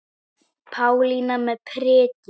Pálína með prikið